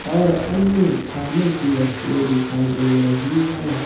और अन्य खाने की वस्तुएं दिखाई दे रही है।